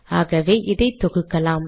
ஆகவே இதை தொகுக்கலாம்